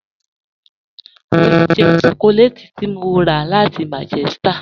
Mọ n jẹ́ shọkọlẹ́tì tí mọ́ rà láti Manchester